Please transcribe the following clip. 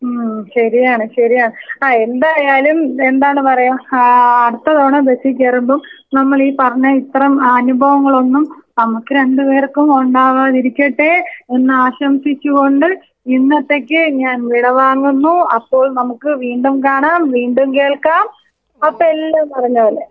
ഉം ശരിയാണ് ആ എന്തായാലും എന്താണ് പറയാ ആ അടുത്ത തവണ ബസി കേറുമ്പോ നമ്മള് ഈ പറഞ്ഞ ഇത്രം അനുഭവങ്ങളൊന്നും നമ്മക്ക് രണ്ടു പേർക്കും ഉണ്ടാകാതിരിക്കട്ടെ എന്ന് ആശംസിച്ചുകൊണ്ട് ഇന്നത്തെക്ക് ഞാൻ വിട വാങ്ങുന്നു അപ്പോൾ നമ്മുക്ക് വീണ്ടും കാണാം വീണ്ടും കേൾക്കാം അപ്പോ എല്ലാം പറഞ്ഞ പോലെ.